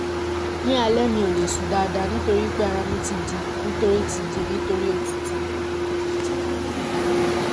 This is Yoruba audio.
ní alẹ́ mi ò lè sùn dáadáa nítorí pé ara mi ti dí nítorí ti dí nítorí òtútù